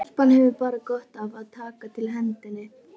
Stelpan hefur bara gott af að taka til hendinni.